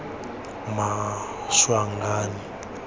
maswanganyi